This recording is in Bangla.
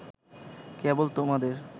কেবল তোমাদের